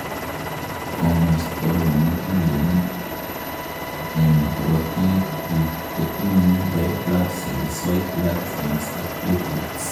komosto nemugulen en korotik guk kotinyei red blood cells, white blood cells ak platelets